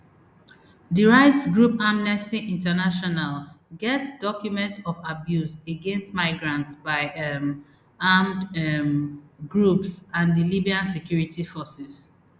di rights group amnesty international get document of abuse against migrants by um armed um groups and di libyan security forces